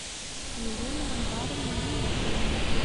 елена анваровна гиниатуллина